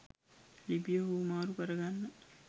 ලිපිය හුවමාරු කරගන්න